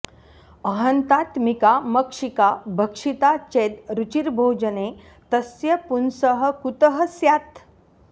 अहन्तात्मिका मक्षिका भक्षिता चेद् रुचिर्भोजने तस्य पुंसः कुतः स्यात्